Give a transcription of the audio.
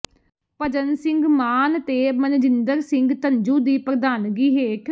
ਭਜਨ ਸਿੰਘ ਮਾਨ ਤੇ ਮਨਜਿੰਦਰ ਸਿੰਘ ਧੰਜੂ ਦੀ ਪ੍ਰਧਾਨਗੀ ਹੇਠ